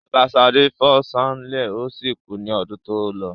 Bàbá Ṣadé fó sánlè o si kú ní ọdún tí ólọ